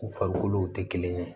U farikolo tɛ kelen ye